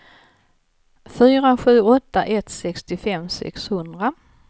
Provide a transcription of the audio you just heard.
fyra sju åtta ett sextiofem sexhundra